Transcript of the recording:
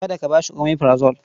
Kada ka ba shi omeprazole.